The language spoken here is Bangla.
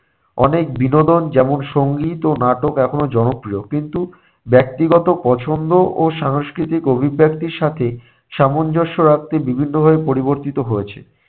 অনেক বিনোদন যেমন সংগীত ও নাটক এখনও জনপ্রিয় কিন্তু ব্যক্তিগত পছন্দ ও সাংস্কৃতিক অভিব্যক্তির সাথে সামঞ্জস্য রাখতে বিভিন্নভাবে পরিবর্তিত হয়েছে।